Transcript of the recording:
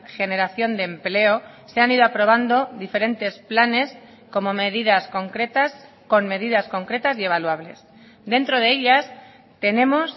generación de empleo se han ido aprobando diferentes planes como medidas concretas con medidas concretas y evaluables dentro de ellas tenemos